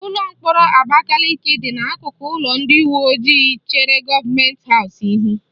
Ụlọ mkpọrọ Abakaliki dị n'akụkụ ụlọ ndị uweojii chere gọọmenti haụs ihu